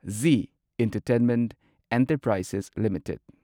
G entertainment enterprises limited